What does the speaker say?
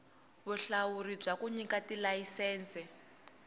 vulawuri bya ku nyika tilayisense